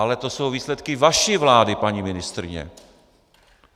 Ale to jsou výsledky vaší vlády, paní ministryně.